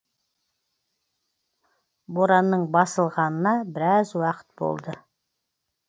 боранның басылғанына біраз уақыт болды